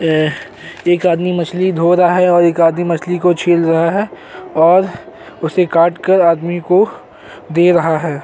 एक आदमी मछली धो रहा है और एक आदमी मछली को छील रहा है और उसे काटकर आदमी को दे रहा है।